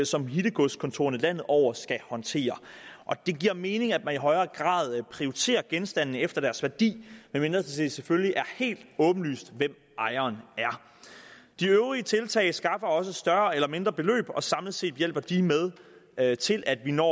som hittegodskontorerne landet over skal håndtere og det giver mening at man i højere grad prioriterer genstandene efter deres værdi medmindre det selvfølgelig er helt åbenlyst hvem ejeren er de øvrige tiltag skaffer også større eller mindre beløb og samlet set hjælper de med til at vi når